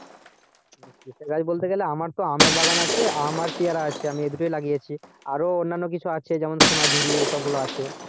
কিসের গাছ বলতে গেলে আমার তো আমের বাগান আছে আম আর পেয়ারা আছে আমি এই দুটোই লাগিয়েছি আরো অন্যান্য কিছু আছে যেমন সোনাঝুরি এইসব গুলো আছে